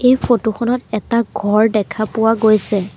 এই ফটো খনত এটা ঘৰ দেখা পোৱা গৈছে।